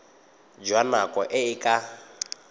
jwa nako e e ka